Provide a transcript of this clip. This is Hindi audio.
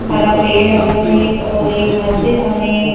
हरा पेड़ लगा हैं और एक मस्जिद हमें--